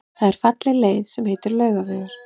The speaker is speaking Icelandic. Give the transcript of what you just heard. Það er falleg leið sem heitir Laugavegur.